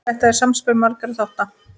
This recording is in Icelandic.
Þetta er samspil margra þátta.